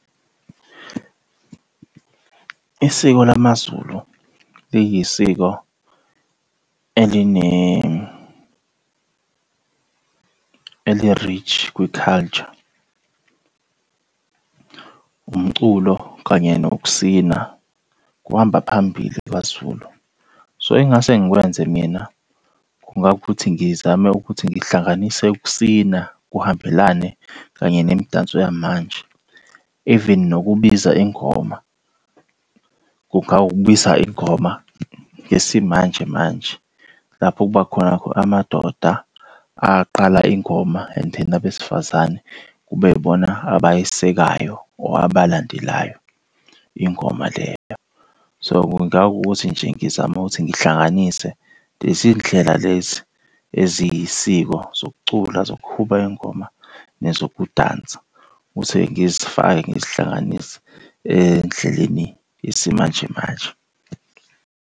Isiko lamaZulu liyisiko eline eli-rich kwi-culture, umculo kanye nokusina kuhamba phambili kwaZulu. So, engingase ngikwenze mina kungawukuthi ngizame ukuthi ngihlanganise ukusina kuhambelane kanye nemidanso yamanje. Even nokubiza ingoma, kungawukubiza ingoma yesimanje manje. Lapho kuba khona amadoda aqala ingoma and then abesifazane kube yibona abayesekayo or abalandelayo ingoma leyo. So, kungawukuthi nje ngizame ukuthi ngihlanganise lezi ndlela lezi eziyisiko, zokucula zokuhuba ingoma, nezokudansa ukuthi-ke ngizifake ngizihlanganise endleleni yesimanje manje.